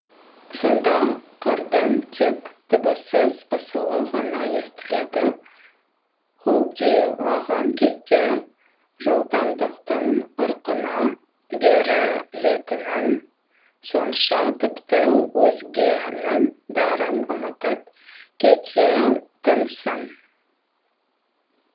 сонда қардың тек дыбыссыз ысылы ғана естіледі құлдилаған кезде жылдамдықтың ырқына берілетінің сонша тіпті өзгенің бәрін ұмытып кететінсің